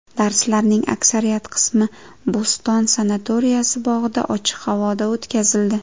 Darslarning aksariyat qismi Bo‘ston sanatoriyasi bog‘ida, ochiq havoda o‘tkazildi.